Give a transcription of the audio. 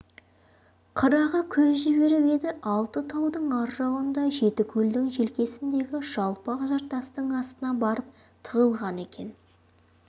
қырағы көз жіберіп еді алты таудың ар жағында жеті көлдің желкесіндегі жалпақ жартастың астына барып тығылған екен